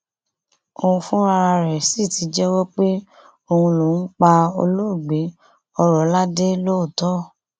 òun fúnra rẹ̀ sì ti jẹ́wọ́ pé òun lòún pa olóògbé ọrọládẹ lóòótọ